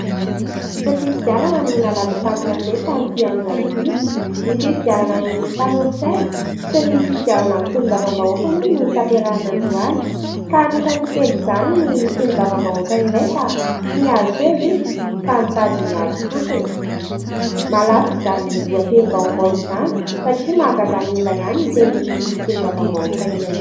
Fifidianana no nalaza tamin'ny gazety tamin'ity androany ity. Ny fifidianana ny mpanolo-tsaina sy ny fifidianana ny solombavambahoaka moa no notanterahina androany. Ka anisan'ny niteny izany ny solombavambahoaka iray fa tsy nahazo seza izy fa mitady ny azy fotsiny. Nalaza izany lohatenim-baovao izany satria mahagaga ny olona ihany ny tenin'ity sombavambahoaka ity.